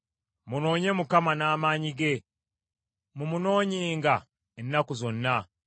Munoonye Mukama n’amaanyi ge; mumunoonyenga ennaku zonna.